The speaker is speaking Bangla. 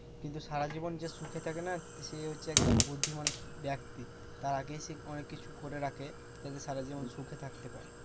কিন্তু সারাজীবন যে সুখে থাকে না সে হচ্ছে একদম বুধ্ধিমান ব্যক্তি। তার আগেই সে অনেককিছু করে রাখে যাতে সারাজীবন সুখে থাকতে পারে।